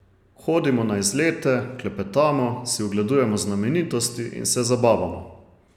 Hodimo na izlete, klepetamo, si ogledujemo znamenitosti in se zabavamo.